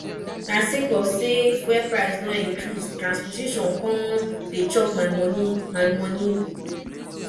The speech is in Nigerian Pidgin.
na sake of sey fuel price don increase transportation come dey chop my moni my moni